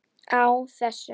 Á þessum